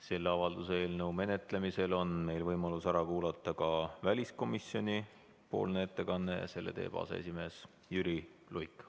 Selle avalduse eelnõu menetlemisel on meil võimalus ära kuulata ka väliskomisjoni ettekanne, mille teeb aseesimees Jüri Luik.